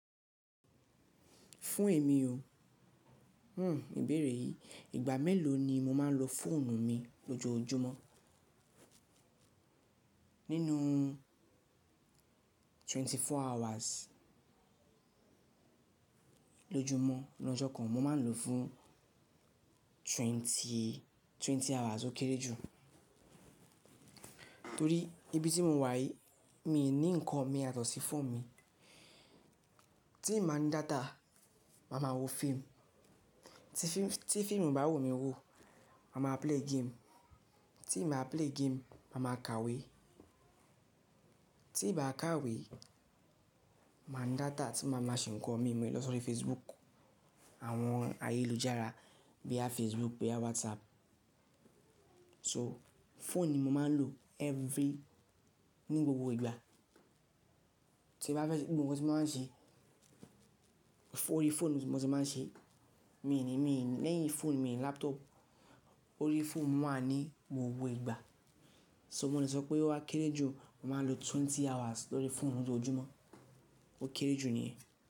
Fún èmi o, hmm ìbéèrè yìí, ìgbà mélòó ni mo máa ń lo fóònù mi lójoójúmọ́? Nínú twenty four hours lójúmọ́ lọ́jọ́ kan, mo máa lòó fún twenty, twenty hours ó kéré jù. Torí ibi tí mo wà yìí, mi ò ní nǹkan mi yàtọ̀sí phone mi. Tí nba ní data, màá máa wo fíìmù. Tí fíìmù ibá wu mí wò, màá máa play game. Tí nba play game, màá máa kàwé. Tí ì bá kàwé, màá ní data tí màá máa ṣe ń kọ mí mú ẹ lọ sórí Facebook, àwọn ayélujára bóyá Facebook, bóyá WhatsApp. So, fóònù ni mo máa ń lò every-- ní gbogbo ìgbà. Tí bá fẹ́ ṣe nbo mo ti máa ń ṣe, orí fóònù ni mo ti máa ń ṣe. Lẹ́yìn fóònù, mi ò ní laptop. Orí fóònù mi wà ní gbogbo ìgbà. So mo lè sọ pé ó wà kéré jù, mo màá lo twenty hours lórí fóònù lójoójúmọ́. Ó kéré jù nìyẹn.